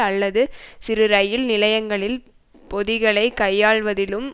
அல்லது சிறு இரயில் நிலையங்களில் பொதிகளை கையாள்வதிலும்